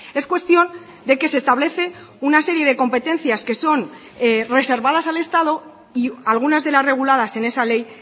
es cuestión de que se establece una serie de competencias que son reservadas al estado y algunas de las reguladas en esa ley